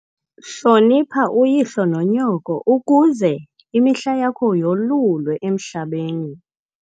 Hlonipha uyihlo nonyoko ukuze imihla yakho yolulwe emhlabeni.